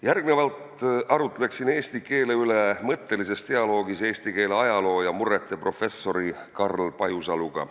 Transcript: Järgmisena arutleksin eesti keele üle, pidades mõttelist dialoogi eesti keele ajaloo ja murrete professori Karl Pajusaluga.